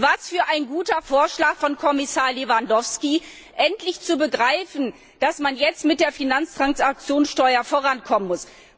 Was für ein guter Vorschlag von Kommissar Lewandowski, endlich zu begreifen, dass man jetzt mit der Finanztransaktionssteuer vorankommen muss!